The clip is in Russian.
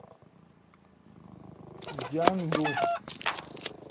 цзянду